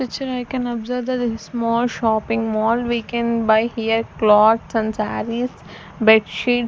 picture I can observe that the small shopping mall we can buy here cloths and sarees bedsheet--